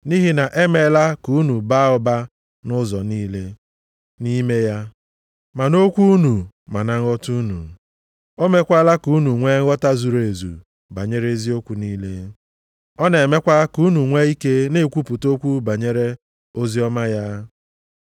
Nʼihi na e emeela ka unu baa ụba nʼụzọ niile, nʼime ya, ma nʼokwu unu ma na nghọta unu. O meekwala ka unu nwee nghọta zuru ezu banyere eziokwu niile. Ọ na-emekwa ka unu nwee ike na-ekwupụta okwu banyere oziọma ya.